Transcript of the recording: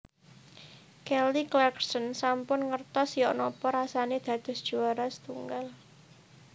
Kelly Clarkson sampun ngertos yok nopo rasane dados juwara setunggal